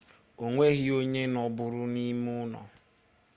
onweghi onye nọbụrụ n'ime ulo